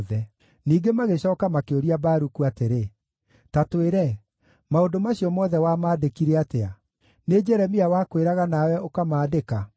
Ningĩ magĩcooka makĩũria Baruku atĩrĩ, “Ta twĩre, maũndũ macio mothe wamandĩkire atĩa? Nĩ Jeremia wakwĩraga nawe ũkamaandĩka?”